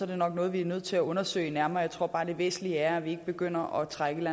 det nok noget vi er nødt til at undersøge nærmere jeg tror bare det væsentlige er at vi ikke begynder at trække et